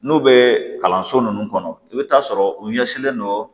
N'u bɛ kalanso nunnu kɔnɔ i bɛ taa sɔrɔ u ɲɛsinlen don